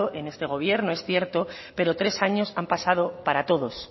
en este gobierno es cierto pero tres años han pasado para todos